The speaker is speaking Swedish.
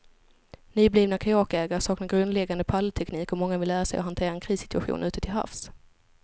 Nyblivna kajakägare saknar grundläggande paddelteknik och många vill lära sig att hantera en krissituation ute till havs.